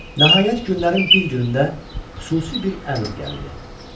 Nəhayət günlərin bir günündə xüsusi bir əmr gəldi.